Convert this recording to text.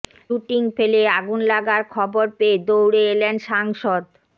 shooting ফেলে আগুন লাগার খবর পেয়ে দৌড়ে এলেন সাংসদ